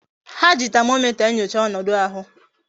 Ha ji tamomita enyocha onodu ahu.